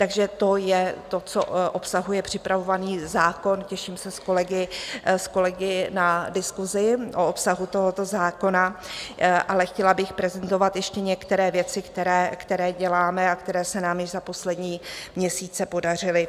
Takže to je to, co obsahuje připravovaný zákon, těším se s kolegy na diskusi o obsahu tohoto zákona, ale chtěla bych prezentovat ještě některé věci, které děláme a které se nám již za poslední měsíce podařily.